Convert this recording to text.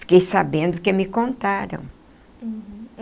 Fiquei sabendo que me contaram. Uhum.